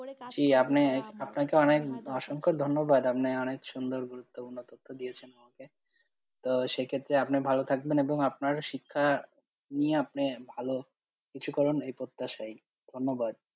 করে, আপনি আপনাকে অনেক অসংখ্য ধন্যবাদ, আপনি অনেক সুন্দর গুরুত্বপূর্ণ তথ্য দিয়েছেন আমাকে, তো সেইক্ষেত্রে আপনি ভালো থাকবেন এবং আপনার শিক্ষা নিয়ে আপনি ভালো কিছু করুন এই প্রত্যাশাই, ধন্যবাদ।